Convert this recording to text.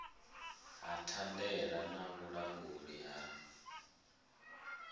ha thandela na vhulanguli ha